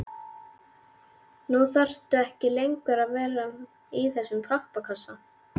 Nú þarftu ekki lengur að vera í þessum pappakassa.